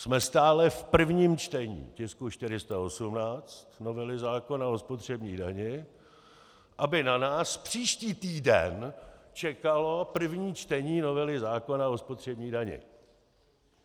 Jsme stále v prvním čtení tisku 418 novely zákona o spotřební dani, aby na nás příští týden čekalo první čtení novely zákona o spotřební dani.